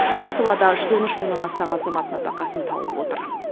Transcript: бұл салада жүз он үш мыңнан астам азамат нәпәқасын тауып отыр